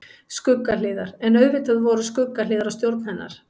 Skuggahliðar En auðvitað voru skuggahliðar á stjórn hennar.